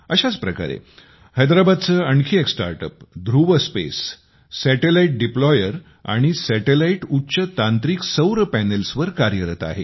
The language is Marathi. अशाच प्रकारे हैद्राबादचे आणखी एक start ups Dhruva space satellite deployer आणि सॅटेलाइटच्या उच्च तांत्रिक सौर पॅनल्सवर कार्यरत आहे